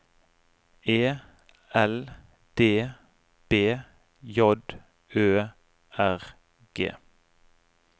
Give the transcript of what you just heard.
E L D B J Ø R G